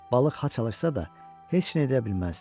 Balıq ha çalışsa da, heç nə edə bilməzdi.